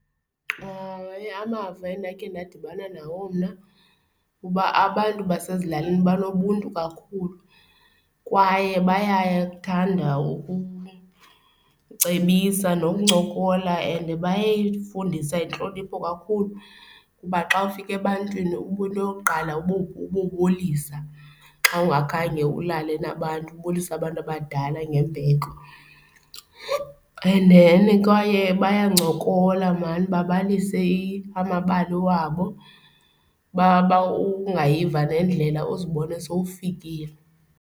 Amava endakhe ndadibana nawo mna kuba abantu basezilalini banobuntu kakhulu kwaye bayakuthanda ukucebisa nokuncokola and bayifundisa intlonipho kakhulu kuba xa ufika ebantwini uba into yokuqala ubobulisa xa ungakhange ulale nabantu, ubulisa abantu abadala ngembeko. And then kwaye bancokola maan babalise amabali wabo ungayiva nendlela uzibone sowufikile.